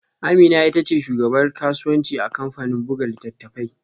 Amina ita ce shugabar kasuwanci a kamfanin buga littattafai